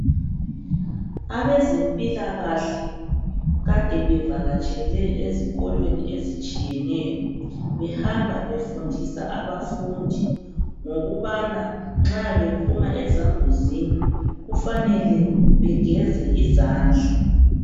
Abezempilakahle kade bevakatshele ezikolweni ezitshiyeneyo behamba befundisa abafundi ngokubana nxa bephuma ezambuzini kufanele begeze izandla.